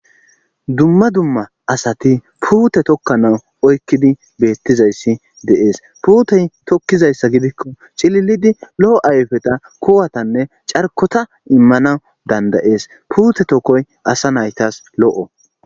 dumma dumma asati puute tokkanawu oykkidi beettizayssi de7ees puutey tokkizayssa gidikko cililidi lo7o ayfeta kuwatanne carkota immana dandayees puute tokkoy asa naytas lo7o